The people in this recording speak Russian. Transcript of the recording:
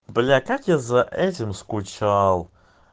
бля как я за этим скучал